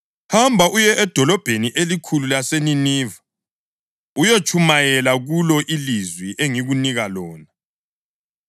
“Hamba uye edolobheni elikhulu laseNiniva uyotshumayela kulo ilizwi engikunika lona.”